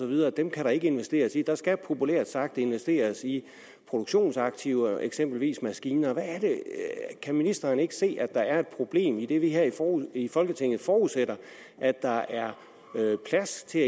videre kan kan der ikke investeres i der skal populært sagt investeres i produktionsaktiver eksempelvis i maskiner kan ministeren ikke se at der er et problem idet vi her i folketinget forudsætter at der er plads til